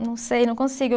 Não sei, não consigo.